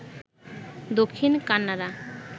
Dakshin Kannada